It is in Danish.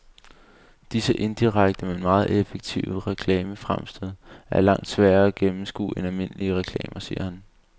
Disse indirekte, men meget effektive reklamefremstød er langt sværere at gennemskue end almindelige reklamer, siger han.